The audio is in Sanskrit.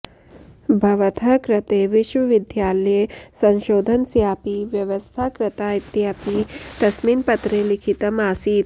भवतः कृते विश्वविद्यालये संशोधनस्यापि व्यवस्था कृता इत्यपि तस्मिन् पत्रे लिखितम् आसीत्